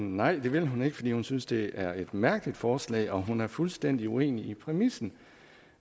nej det vil hun ikke for hun synes det er et mærkeligt forslag og hun er fuldstændig uenig i præmissen